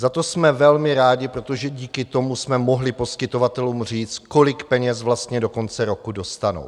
Za to jsme velmi rádi, protože díky tomu jsme mohli poskytovatelům říct, kolik peněz vlastně do konce roku dostanou.